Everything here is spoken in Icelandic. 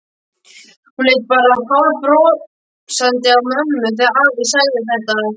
Hún leit bara hálfbrosandi á mömmu þegar afi sagði þetta.